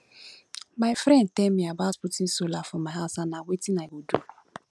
my friend tell me about putting solar for my house and na wetin i go do